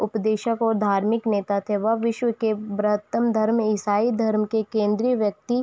उपदेसक व धार्मिक नेता थे वह विश्व ब्रतम धर्म ईसाई धर्म के केंद्रीय व्यक्ति --